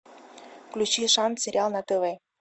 включи шанс сериал на тв